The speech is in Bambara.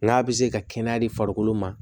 N'a bɛ se ka kɛnɛya di farikolo ma